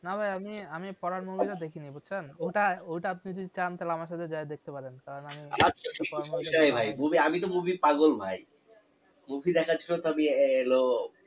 না ভাই আমি আমি পরান movie টা দেখিনি বুঝসেন ওটা ওটা আপনি যদি চান তালে আমার সাথে যায়া দেখতে পারেন কারন আমি তো movie পাগল ভাই movie দেখার জন্য আমি হলো